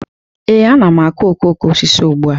Ee, a na m akụ okoko osisi ugbu a